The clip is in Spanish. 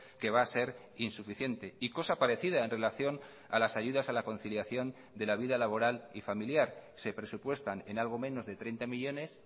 que va a ser insuficiente y cosa parecida en relación a las ayudas a la conciliación de la vida laboral y familiar se presupuestan en algo menos de treinta millónes